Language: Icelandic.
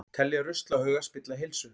Telja ruslahauga spilla heilsu